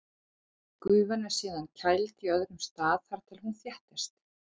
Gufan er síðan kæld á öðrum stað þar til hún þéttist.